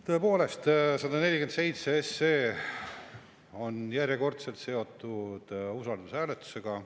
Tõepoolest, 147 SE on järjekordselt seotud usaldushääletusega.